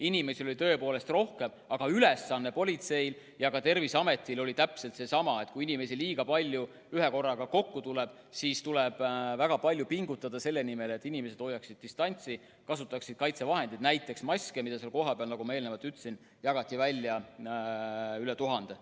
Inimesi oli tõepoolest rohkem, aga politseil ja ka Terviseametil oli täpselt seesama ülesanne: kui inimesi liiga palju ühekorraga kokku tuleb, siis tuleb väga palju pingutada selle nimel, et inimesed hoiaksid distantsi ja kasutaksid kaitsevahendeid, näiteks maske, mida seal kohapeal, nagu ma juba ütlesin, jagati välja üle 1000.